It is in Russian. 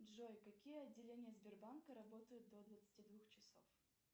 джой какие отделения сбербанка работают до двадцати двух часов